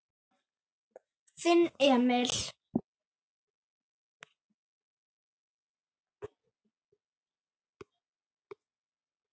Þinn Emil.